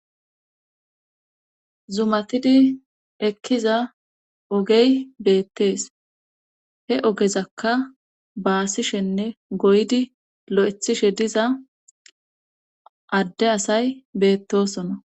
Zumatidi ekkiza ogey beettees he ogezakka baasishenne goydi lo7ethishe diza adde asay beettosona.